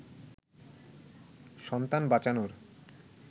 সন্তান বাঁচানোর